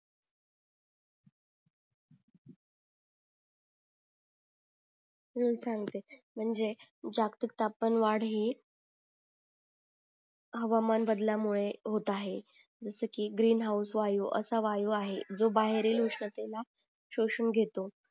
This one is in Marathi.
हम्म सांगते म्णजे जागतिक तापमान वाढ ही हवामान बदला मुळे होत आहे जस की ग्रीन होऊस वायू असा वायू आहे जो बाहेरील उष्णतेला शोषून घेतो